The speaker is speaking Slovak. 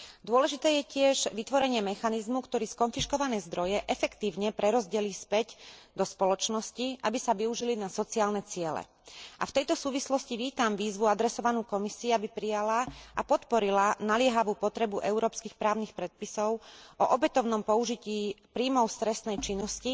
Dôležité je tiež vytvorenie mechanizmu, ktorý skonfiškované zdroje efektívne prerozdelí späť do spoločnosti, aby sa využili na sociálne ciele, a v tejto súvislosti vítam výzvu adresovanú Komisii, aby prijala a podporila naliehavú potrebu európskych právnych predpisov o opätovnom použití príjmov z trestnej činnosti